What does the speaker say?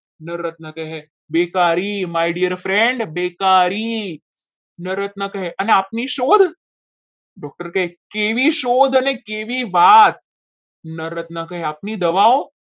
નર રત્ન કહે બેકારી my dear friend બેકારી ન રત્ન કહે અને આપની શોધ doctor કહે કે એવી શોધ કેવી વાત કરી આપણી દવાઓ